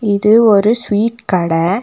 இது ஒரு ஸ்வீட் கடை.